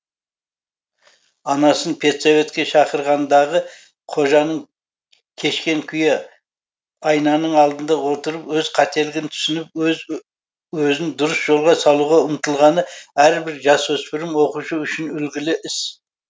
анасын педсоветке шақырғандағы қожаның кешкен күйі айнаның алдында отырып өз қателігін түсініп өз өзін дұрыс жолға салуға ұмтылғаны әрбір жасөспірім оқушы үшін үлгілі іс